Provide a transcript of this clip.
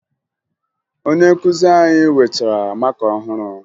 Onye nkụzi anyị wetara maka ọhụrụ